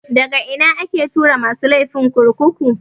Daga ina ake tura masu laifi kurkuku?